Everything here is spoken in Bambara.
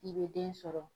I bɛ den sɔrɔ